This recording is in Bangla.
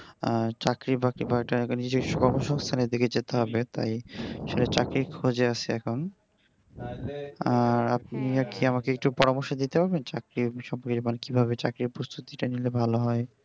আর চাকরি বাকরি কিনা নিজস্ব কর্মসংস্থানের দিকে যেতে হবে তাই চাকরির খোঁজে আছি এখন আর আপনি কি আমাকে একটু পরামর্শ দিতে পারবেন চাকরি বিশয়ে মানে কিভাবে চাকরির প্রস্তুতিটা নিলে ভালো হয়?